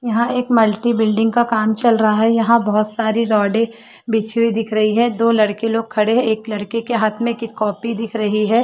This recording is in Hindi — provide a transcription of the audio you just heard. यहाँ एक मल्टी बिल्डिंग का काम चल रहा है यहाँ बहुत सारे रोडे बिछी हुई दिख रही है दो लड़के लोग खड़े है एक लड़के के हाँथ में एक कॉपी दिख रही है।